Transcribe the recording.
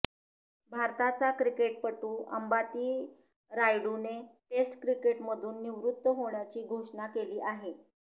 भारताचा क्रिकेटपटू अंबाती रायुडूनं टेस्ट क्रिकेटमधून निवृत्त होण्याची घोषणा केली आहे